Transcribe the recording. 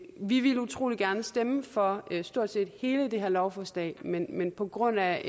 vi ville utrolig gerne stemme for stort set hele det her lovforslag men men på grund af